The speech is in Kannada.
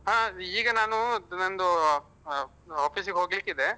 ಹ ಈಗ ನಾನು ನಂದು office ಗೆ ಹೋಗ್ಲಿಕ್ಕಿದೆ.